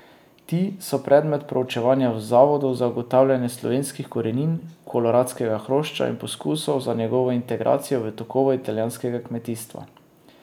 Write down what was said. Ti so predmet proučevanja v zavodu za ugotavljanje slovenskih korenin koloradskega hrošča in poskusov za njegovo integracijo v tokove italijanskega kmetijstva.